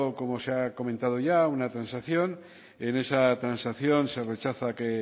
como se ha comentado ya a una transacción en esa transacción se rechaza que